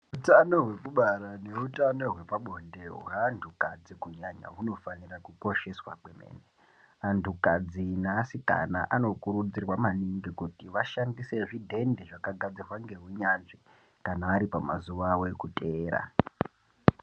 Utano hwekubara neutano hwepabonde hwaantukadzi kunyanya hunofanira kukosheswa kwemene. Antukadzi neasikana anokurudzirwa maningi kuti vashandise zvidhende, zvakagadzirwa ngeunyanzvi kana ari pamazuwa awo ekuteera.